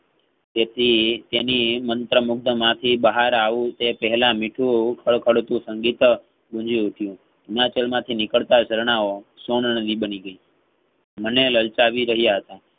તેથી તેની મંત્ર મુગ્ધ માંથી બહાર વાવ્યું તે પહેલા મીઠું કડ~કડ તું સંગીત ગુંજી ઉઠીયુહિમાચલ માંથી નિકાલ તા ઝરણાઓ સોરણનદી બની ગઈ મને લલચાવી રહ્યા હતા.